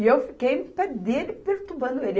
E eu fiquei no pé dele, perturbando ele.